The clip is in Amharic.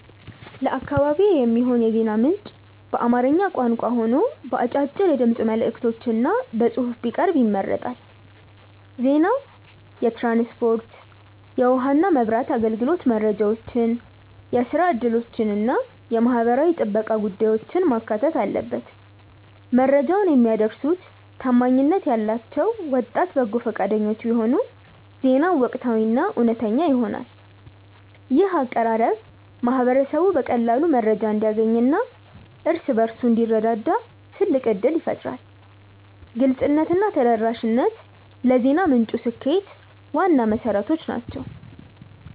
ለአካባቢዬ የሚሆን የዜና ምንጭ በአማርኛ ቋንቋ ሆኖ በአጫጭር የድምፅ መልዕክቶችና በጽሑፍ ቢቀርብ ይመረጣል። ዜናው የትራንስፖርት፣ የውኃና መብራት አገልግሎት መረጃዎችን፣ የሥራ ዕድሎችንና የማኅበራዊ ጥበቃ ጉዳዮችን ማካተት አለበት። መረጃውን የሚያደርሱት ታማኝነት ያላቸው ወጣት በጎ ፈቃደኞች ቢሆኑ ዜናው ወቅታዊና እውነተኛ ይሆናል። ይህ አቀራረብ ማኅበረሰቡ በቀላሉ መረጃ እንዲያገኝና እርስ በርሱ እንዲረዳዳ ትልቅ ዕድል ይፈጥራል። ግልጽነትና ተደራሽነት ለዜና ምንጩ ስኬት ዋና መሠረቶች ናቸው።